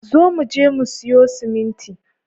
Zo muje mu siyo siminti